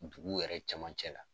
Dugu yɛrɛ caman cɛ la